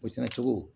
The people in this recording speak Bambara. O cɛncogo